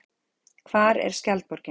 Hvar er Skjaldborgin?